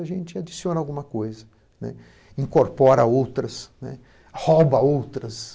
A gente adiciona alguma coisa, né, incorpora outras, né, rouba outras.